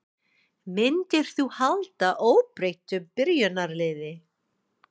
Myndir þú halda óbreyttu byrjunarliði?